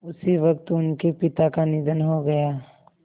उसी वक़्त उनके पिता का निधन हो गया